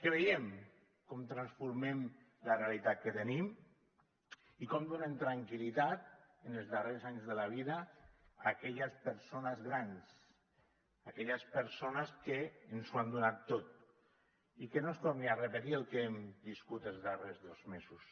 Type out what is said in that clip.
que veiem com transformem la realitat que tenim i com donem tranquil·litat en els darrers anys de la vida a aquelles persones grans aquelles persones que ens ho han donat tot i que no es torni a repetir el que hem viscut els darrers dos mesos